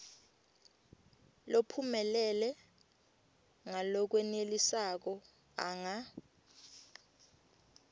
lophumelele ngalokwenelisako anga